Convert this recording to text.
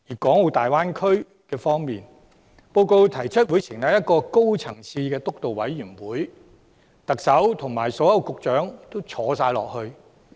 在大灣區方面，施政報告提出會成立一個高層次的督導委員會，成員包括特首和所有局長。